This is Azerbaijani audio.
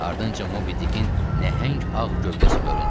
Ardınca Mobidikin nəhəng ağ gövdəsi göründü.